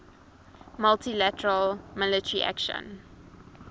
multi lateral military action